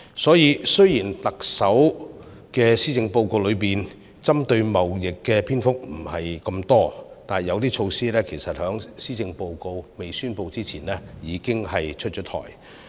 所以，雖然特首的施政報告中針對貿易的篇幅不多，但是，有些措施其實在施政報告發表前已經出台。